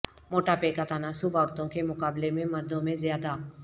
مٹاپے کا تناسب عورتوں کے مقابلے میں مردوں میں زیادہ